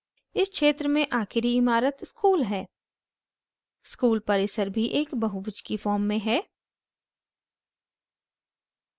इस क्षेत्र में आखिरी इमारत school है school परिसर भी एक बहुभुज की form में है